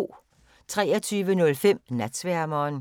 23:05: Natsværmeren